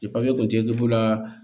kun tɛ la